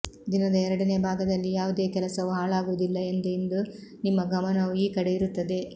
ದಿನದ ಎರಡನೇ ಭಾಗದಲ್ಲಿ ಯಾವುದೇ ಕೆಲಸವು ಹಾಳಾಗುವುದಿಲ್ಲ ಎಂದು ಇಂದು ನಿಮ್ಮ ಗಮನವು ಈ ಕಡೆ ಇರುತ್ತದೆ